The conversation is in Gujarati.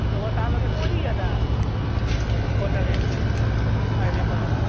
સવારે સાત વાગે પોચી ગયા તા હોટેલે હાઇવે પર